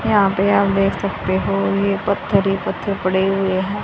यहां पे आप देख सकते हो ये पत्थर ही पत्थर पड़े हुए हैं।